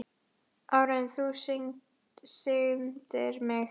Áður en þú signdir mig.